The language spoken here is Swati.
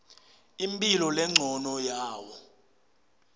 imphilo lencono yawo